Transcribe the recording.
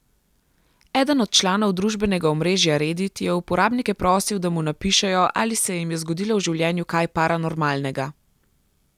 Eden od članov družbenega omrežja Redit je uporabnike prosil, da mu napišejo, ali se jim je zgodilo v življenju kaj paranormalnega.